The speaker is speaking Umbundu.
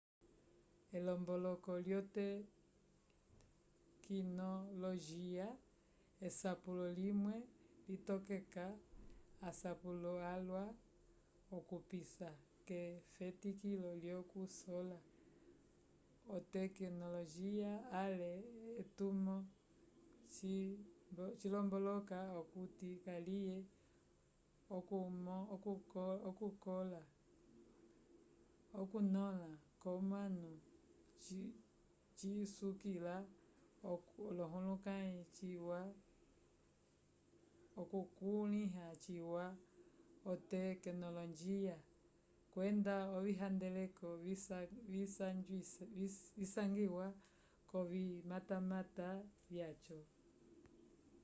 elomboloko lyotekinolojiya esapulo limwe litokeka asapulo alwa okupisa k'efetikilo lyokusola otekinolojiya ale etumo cilomboloka okuti kaliye okukõla kwomanu cisukila okukulĩha ciwa otekinolojiya kwenda ovihandeleko visangiwa k'ovimatamata vyaco